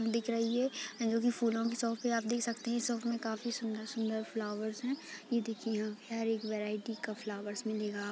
दिख रही है जोकि फूलों की शॉप है। आप देख सकते हैं इस शॉप में काफी सूंदर-सूंदर फ्लावर्स हैं ये देखिये यहाँ पे हर एक वैरायटी का फ्लावर्स मिलेगा आप को।